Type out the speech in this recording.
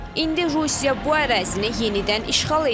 İndi Rusiya bu ərazini yenidən işğal edib.